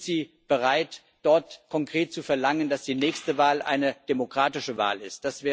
Sind Sie bereit, dort konkret zu verlangen, dass die nächste Wahl eine demokratische Wahl ist?